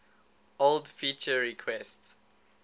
old feature requests